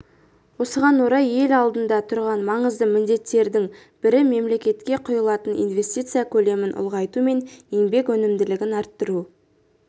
осыған орай ел алдында тұрған маңызды міндеттердің бірі мемлекетке құйылатын инвестиция көлемін ұлғайту мен еңбек өнімділігін арттыру